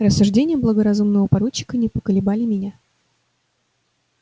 рассуждения благоразумного поручика не поколебали меня